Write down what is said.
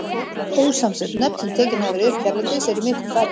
Ósamsett nöfn, sem tekin hafa verið upp hérlendis, eru miklu færri.